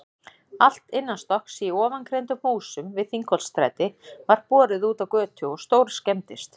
Allt innanstokks í ofangreindum húsum við Þingholtsstræti var borið útá götu og stórskemmdist.